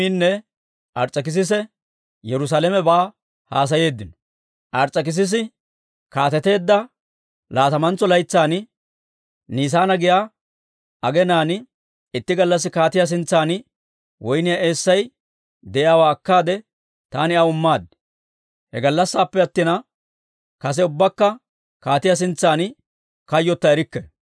Ars's'ekissisi kaateteedda laatamantso laytsan, Niisaana giyaa aginaan, itti gallassi kaatiyaa sintsan woyniyaa eessay de'iyaawaa akkaade, taani aw immaad. He gallassaappe attina, kase ubbakka kaatiyaa sintsan kayyotta erikke.